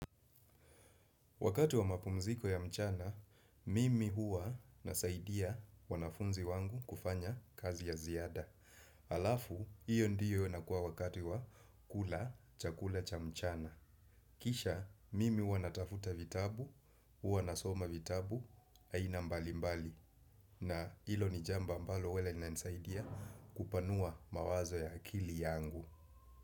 Wakati wa mapumziko ya mchana mimi huwa nasaidia wanafunzi wangu kufanya kazi ya ziada. Halafu, hio ndio inakuwa wakati wa kula chakula cha mchana. Kisha, mimi huwa natafuta vitabu, hua nasoma vitabu, aina mbali mbali. Na hilo ni jambo ambalo huwa linanisaidia kupanua mawazo ya akili yangu.